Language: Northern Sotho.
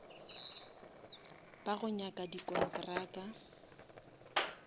ba go nyaka di kontraka